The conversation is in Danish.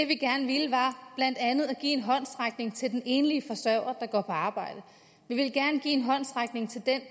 vi gerne ville var at give en håndsrækning til den enlige forsørger der går på arbejde vi ville gerne give en håndsrækning til den